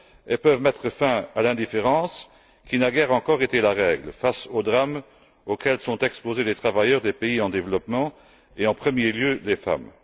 Elles peuvent mettre fin à l'indifférence qui naguère encore était la règle face aux drames auxquels sont exposés les travailleurs des pays en développement et, en premier lieu, les femmes.